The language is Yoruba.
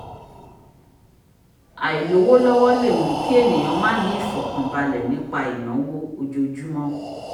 àìlówólọ́wọ́ lè mú kí ènìyàn má ní ìfọ̀kànbalẹ̀ nípa ìnáwó ojoojúmọ́